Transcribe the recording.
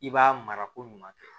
I b'a mara ko ɲuman kɛ